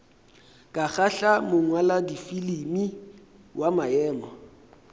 ka kgahla mongwaladifilimi wa maemo